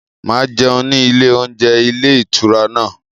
Màá jẹun ní ilé oúnjẹ ilé ìtura náà.